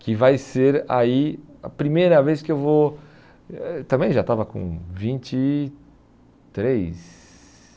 que vai ser aí a primeira vez que eu vou... Eh também já estava com vinte e três